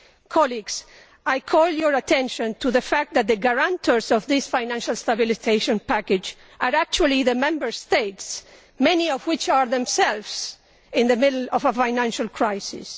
Colleagues, I call your attention to the fact that the guarantors of this financial stabilisation package are actually the Member States, many of which are themselves in the midst of a financial crisis.